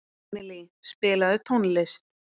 Emilý, spilaðu tónlist.